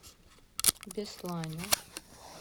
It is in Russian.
беслане